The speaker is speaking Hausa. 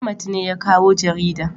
Ahmad ne ya kawo jaridan